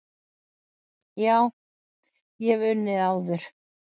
Já, ég hef unnið áður.